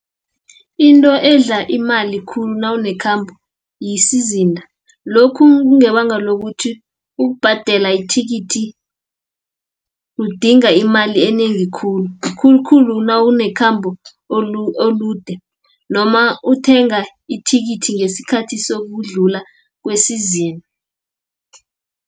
Into edla imali khulu nawune khambo, yisizinda , lokhu kungebanga lokuthi ukubhadela ithikithi, kudinga imali enengi khulu, khulukhulu nawunekhambo olude, noma uthenga ithikithi ngesikhathi sokudlula kwesizini.